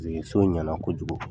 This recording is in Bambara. Paseke so in ɲɛna kojugu.